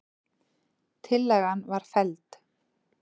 Tillagan var felld